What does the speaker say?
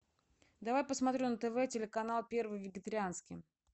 давай посмотрю на тв телеканал первый вегетарианский